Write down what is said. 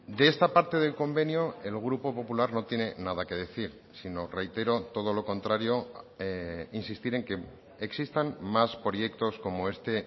de esta parte del convenio el grupo popular no tiene nada que decir sino reitero todo lo contrario insistir en que existan más proyectos como este